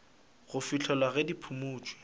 go fihlela ge di phumotšwe